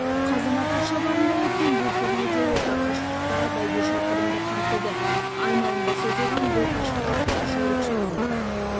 қазанат атшабарында өткен бұл турнирде орта қашықтықтағы бәйге шақырымды қамтыды айналымға созылған бұл қашықтыққа жүйрік шапты